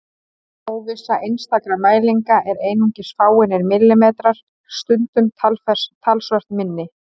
Óvissa einstakra mælinga er einungis fáeinir millimetrar, stundum talsvert minni.